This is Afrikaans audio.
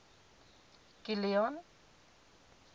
kilian